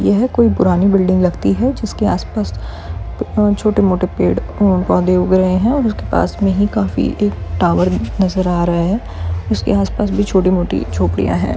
यह कोई पुरानी बिल्डिंग लगती है जिसके आस-पास छोटे-मोटे पेड़ उ पौधे उग रहे है और उसके पास मे ही काफी एक टावर नज़र आ रहा है उसके आसपास में भी छोटी-मोटी झोपड़ियाँ है।